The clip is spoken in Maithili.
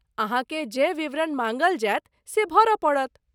अहाँकेँ जे विवरण माँगल जायत से भरय पड़त।